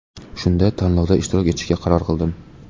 Shunda tanlovda ishtirok etishga qaror qildim.